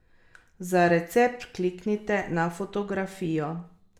Za recept kliknite na fotografijo.